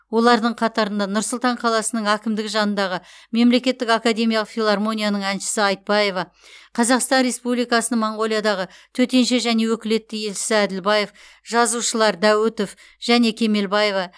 олардың қатарында нұр сұлтан қаласының әкімдігі жанындағы мемлекеттік академиялық филармонияның әншісі айтбаева қазақстан республикасының моңғолиядағы төтенше және өкілетті елшісі әділбаев жазушылар дәуітов және кемелбаева